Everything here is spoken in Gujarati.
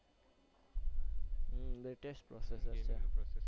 હમ latest મસ્ત ફોન છે.